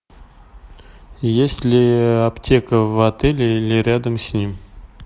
есть ли аптека в отеле или рядом с ним